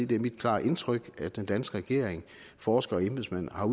det er mit klare indtryk at den danske regering og forskere og embedsmænd har